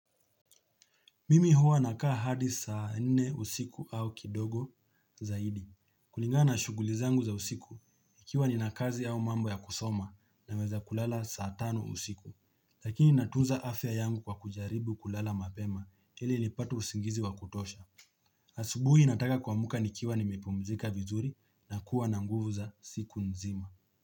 Mimi huwa nakaa hadi saa nne usiku au kidogo zaidi. Kulingana na shughuli zangu za usiku ikiwa nina kazi au mambo ya kusoma naweza kulala saa tano usiku. Lakini natunza afya yangu kwa kujaribu kulala mapema ili nipate usingizi wa kutosha. Asubuhi nataka kuamka nikiwa nimepumzika vizuri na kuwa na nguvu za siku nzima.